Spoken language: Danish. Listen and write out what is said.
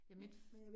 Ja mit